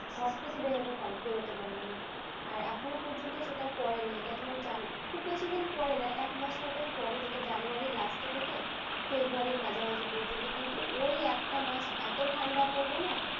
ঘর থেকে বেরোতে বেরোতে পারবে না আর এখনো পর্যন্ত সেটা পড়েনি এটা তোমার january খুব বেশিদিন পরে না একমাস মতোই পড়ে যেটা january র last এ থেকে february মাঝামাঝি পর্যন্ত কিন্তু ওই এক মাস এত ঠান্ডা পড়বে না